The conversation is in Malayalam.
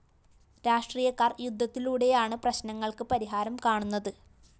രാഷ്ട്രീയക്കാര്‍ യുദ്ധത്തിലൂടെയാണ് പ്രശ്‌നങ്ങള്‍ക്ക് പരിഹാരം കാണുന്നത്